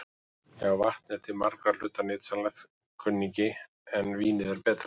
Já, vatn er til margra hluta nytsamlegt, kunningi, en vínið er betra.